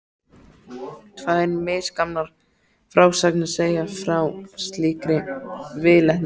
Tvær misgamlar frásagnir segja frá slíkri viðleitni.